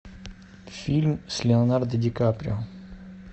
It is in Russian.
фильм с леонардо ди каприо